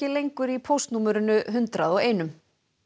lengur í póstnúmerinu hundrað og einum